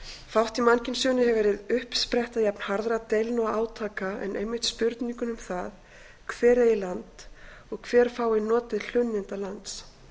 í mannkynssögunni hefur verið uppspretta jafn harðra deilna og átaka en einmitt spurningin um það hver eigi land og hver fái notið hlunninda lands